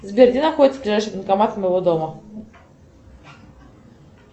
сбер где находится ближайший банкомат от моего дома